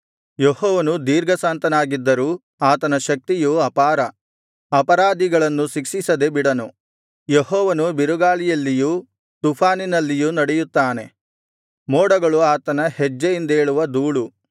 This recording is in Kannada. ಯೆಹೋವನು ದೀರ್ಘಶಾಂತನಾಗಿದ್ದರೂ ಆತನ ಶಕ್ತಿಯು ಅಪಾರ ಅಪರಾಧಿಗಳನ್ನು ಶಿಕ್ಷಿಸದೆ ಬಿಡನು ಯೆಹೋವನು ಬಿರುಗಾಳಿಯಲ್ಲಿಯೂ ತುಫಾನಿನಲ್ಲಿಯೂ ನಡೆಯುತ್ತಾನೆ ಮೋಡಗಳು ಆತನ ಹೆಜ್ಜೆಯಿಂದೇಳುವ ಧೂಳು